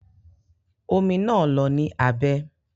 Omi naa lọ ní abẹ́.